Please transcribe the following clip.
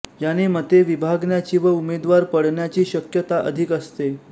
याने मते विभागण्याची व उमेदवार पडण्याची शक्यता अधिक असते